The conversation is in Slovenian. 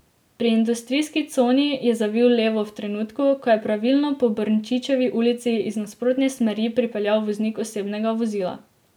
Pri industrijski coni je zavil levo v trenutku, ko je pravilno po Brnčičevi ulici iz nasprotne smeri pripeljal voznik osebnega vozila.